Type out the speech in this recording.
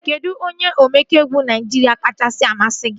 Kedụ onye omenkà egwu Naijiria kachasị amasị gị?